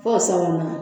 Fo sabanan